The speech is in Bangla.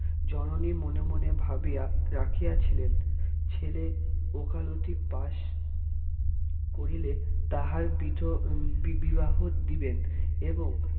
জননী মনে মনে ভাবিয়া রাখিয়াছিলেন ছেলে ওকালতি পাশ করিলে তাহার বিধ বিবাহ দিবেন এবং